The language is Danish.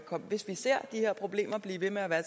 de her problemer bliver ved med at være